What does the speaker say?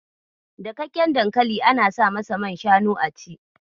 Dakakken dankali ana sa masa man shanu a ciki.